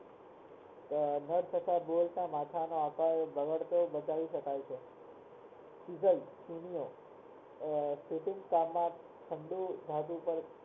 નુત તથા બોલ્ટ ના માથા નો આકાર બગાડતો બચાવી શકાય છે